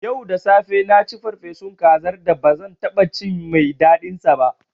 Yau da safe na ci farfesun kazar da ba zan taɓa cin mai daɗinsa ba.